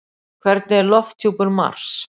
Hvernig er lofthjúpur Mars?